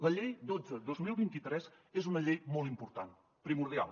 la llei dotze dos mil vint tres és una llei molt important primordial